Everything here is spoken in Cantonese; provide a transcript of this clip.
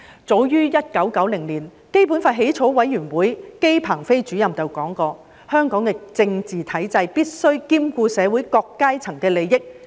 早於1990年，基本法起草委員會姬鵬飛主任曾說，香港的政治體制必須兼顧社會各階層利益。